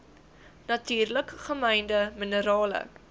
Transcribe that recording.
natuurlik gemynde minerale